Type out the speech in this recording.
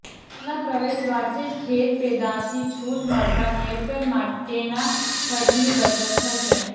ખેતરના પ્રવેશદ્વારથી જ ખેત પેદાશની છૂટ મળતાં હેરફેર માટેના ખર્ચની બચત થશે